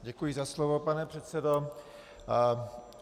Děkuji za slovo, pane předsedo.